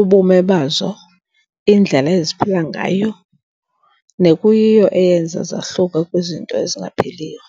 ubume bazo, indlela eziphila ngayo, nekuyiyo eyenza zahluke kwizinto ezingaphiliyo